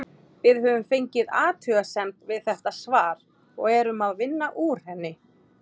Við höfum fengið athugasemd við þetta svar og erum að vinna úr henni.